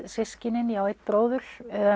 systkinin ég á einn bróður